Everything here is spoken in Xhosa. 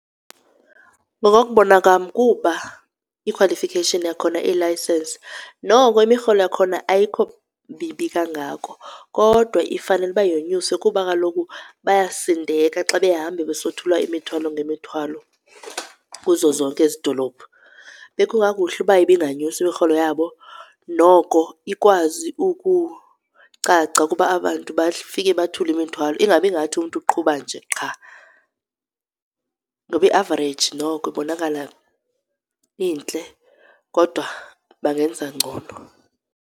Ngokokubona kam kuba ikhwalifikheyishini yakhona iyilayisenisi, noko imirholo yakhona ayikho mibi kangako. Kodwa ifanele uba yonyuswe kuba kaloku bayasindeka xa behamba besothula imithwalo ngemithwalo kuzo zonke ezidolophu. Bekungakuhle uba ibinganyuswa imirholo yabo noko ikwazi ukucaca kuba aba bantu bafike bathule imithwalo, ingabi ngathi umntu uqhuba nje qha. Ngoba iavareyiji noko ibonakala intle kodwa bangenza ngcono.